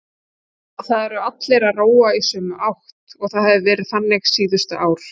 Það eru allir að róa í sömu átt og það hefur verið þannig síðustu ár.